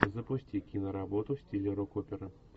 запусти киноработу в стиле рок опера